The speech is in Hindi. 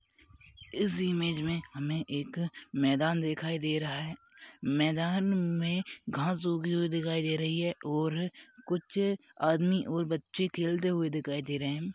इस इमेज में हमें एक मैदान दिखाई दे रहा है मैदान में घास उगी हुई दिखाई दे रही है और कुछ आदमी और बच्चे खेलते हुए दिखाई दे रहे हैं।